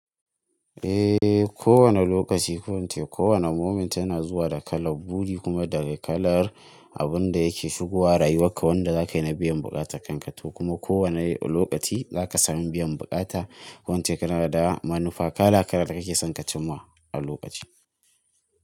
Ehhh, kowane lokaci ko inn ce, kowane moment yana zuwa da kala. Buri kuma daga kalar abun da yake shigowa rayuwarka wanda za ka yi na biyan buƙatanka to kuma kowane lokaci za ka sami biyan buƙata. Ko inn ce kana da manufa, kala kala kake son ka cimma a lokaci.